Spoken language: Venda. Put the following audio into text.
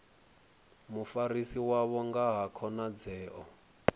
mufarisi wavho nga ha khonadzeo